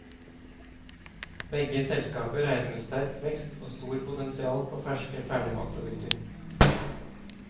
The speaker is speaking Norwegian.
Begge selskaper regner med sterk vekst og stort potensial på ferske ferdigmatprodukter.